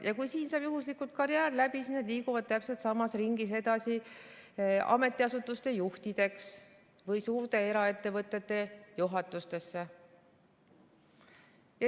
Ja kui siin saab juhuslikult karjäär läbi, siis nad liiguvad täpselt samas ringis edasi ametiasutuste juhtideks või suurte eraettevõtete juhatustesse.